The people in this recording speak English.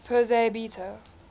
persei beta